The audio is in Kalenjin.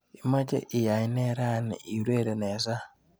Imeche iyae nee rani iureren eng sang.